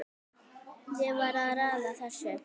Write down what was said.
Ég var að raða þessu